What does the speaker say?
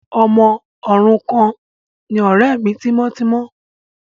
Ọmọ òrukàn ni ọ̀rẹ́ mi tímọ́tímọ́.